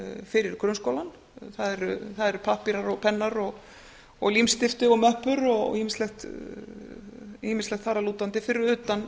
fyrir grunnskólann það eru pappírar pennar límstifti möppur og ýmislegt þar af lútandi fyrir utan